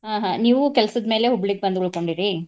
ಆಹ್ ಆಹ್ ನೀವು ಕೆಲ್ಸದ ಮೇಲೆ ಹುಬ್ಳಿಗ್ ಬಂದ್ ಉಳಕೊಂಡೇರಿ?